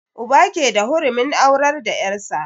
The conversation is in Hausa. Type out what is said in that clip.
Uba ke da hurumin aurar da yar' sa.